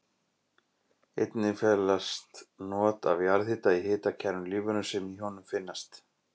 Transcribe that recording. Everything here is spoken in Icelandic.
Einnig felast not af jarðhita í hitakærum lífverum sem í honum finnast.